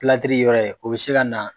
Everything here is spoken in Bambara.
yɔrɔ ye o bɛ se ka na